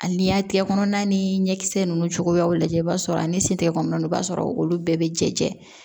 Ani y'a tɛgɛ kɔnɔna ni ɲɛkisɛ ninnu cogoyaw lajɛ i b'a sɔrɔ a ni sen tɛgɛ kɔnɔna ninnu na i b'a sɔrɔ olu bɛɛ bɛ jɛ